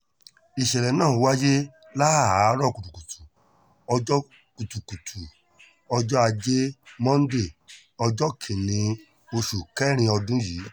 ìṣẹ̀lẹ̀ náà wáyé láàárọ̀ kùtùkùtù ọjọ́ kùtùkùtù ọjọ́ ajé monde ọjọ́ kìn-ín-ní oṣù kẹrin ọdún yìí